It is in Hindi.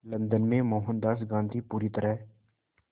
लंदन में मोहनदास गांधी पूरी तरह